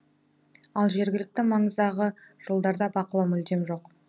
ал жергілікті маңыздағы жолдарда бақылау мүлдем жоқ